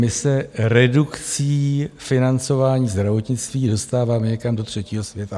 My se redukcí financování zdravotnictví dostáváme někam do třetího světa.